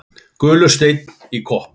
Gulur steinn í kopp.